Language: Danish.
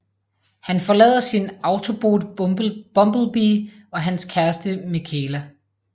Han forlader sin Autobot Bumblebee og hans kæreste Mikaela